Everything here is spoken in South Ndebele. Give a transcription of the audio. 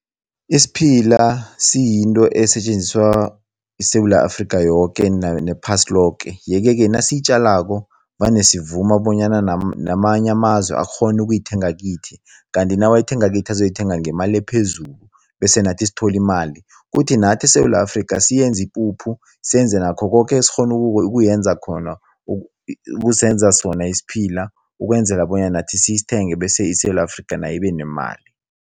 Isiphila siyinto esetjenziswa yiSewula Afrika nephasi loke yeke-ke nasiyitjalako vane sivuma bonyana namanye amazwe akghone ukuyithenga kithi, kanti nawayithenga kithi azoyithenga ngemali ephezulu bese nathi sithole imali. Kuthi nathi eSewula Afrika siyenze ipuphu, senze nakho koke esikghona ukuyenza khona ukusenza sona isiphila, ukwenzela bonyana nathi sisithenge bese iSewula Afrika nayo ibenemali.